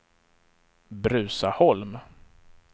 Bruzaholm